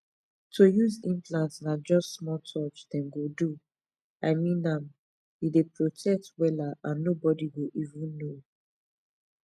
to use implant na just small touch dem go do i mean m e dey protect wela and nobody go even know